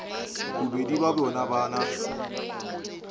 bobedi bja bona ba na